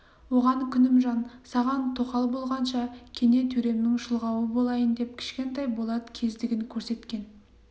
оған күнімжан саған тоқал болғанша кене төремнің шұлғауы болайын деп кішкентай болат кездігін көрсеткен